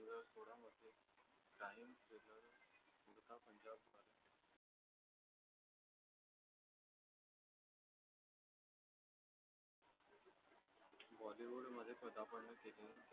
मध्ये पदापर्ण केले